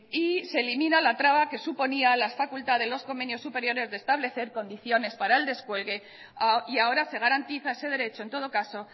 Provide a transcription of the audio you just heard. y se elimina la traba que suponía la facultad de los convenios superiores de establecer condiciones para el descuelgue y ahora se garantiza ese derecho en todo caso